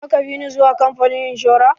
Za ka bi ni zuwa kamfanin inshora?